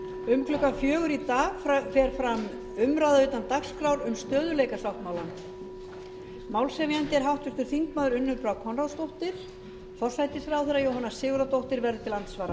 um klukkan fjögur í dag fer fram umræða utan dagskrár um stöðugleikasáttmálann málshefjandi er háttvirtur þingmaður unnur brá konráðsdóttir forsætisráðherra jóhanna sigurðardóttir verður til